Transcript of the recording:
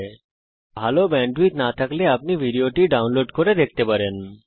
যদি আপনার কাছে ভালো ব্যান্ডউইডথ না থাকে তাহলে আপনি এটা ডাউনলোড করেও দেখতে পারেন